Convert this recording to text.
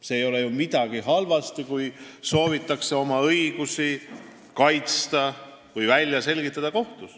Selles ei ole ju midagi halba, kui soovitakse oma õigusi kaitsta või kohtus välja selgitada.